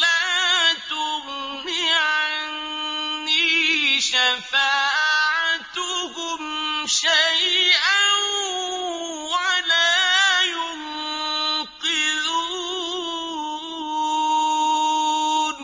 لَّا تُغْنِ عَنِّي شَفَاعَتُهُمْ شَيْئًا وَلَا يُنقِذُونِ